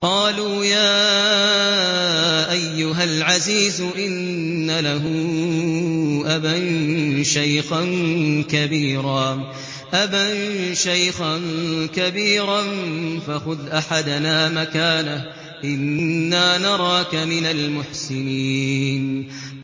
قَالُوا يَا أَيُّهَا الْعَزِيزُ إِنَّ لَهُ أَبًا شَيْخًا كَبِيرًا فَخُذْ أَحَدَنَا مَكَانَهُ ۖ إِنَّا نَرَاكَ مِنَ الْمُحْسِنِينَ